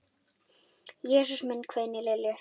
Jesús minn hvein í Lillu.